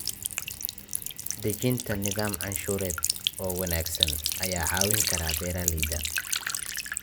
Dejinta nidaam canshuureed oo wanaagsan ayaa caawin kara beeralayda.